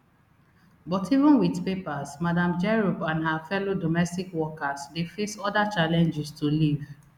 but even wit papers madam jerop and her fellow domestic workers dey face oda challenges to leave